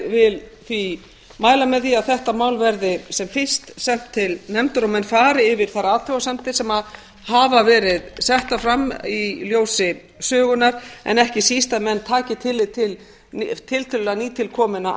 vil því mæla með því að þetta mál verði sem fyrst sent til nefndar og menn fari yfir þær athugasemdir sem hafa verið settar fram í ljósi sögunnar en ekki síst að menn taki tillit til tiltölulega nýtilkominna